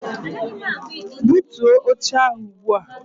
Butuo oche ahụ ugbu a!